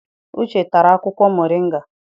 Uche tara akwụkwọ moringa.